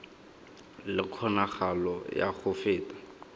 le kgonagalo ya go feta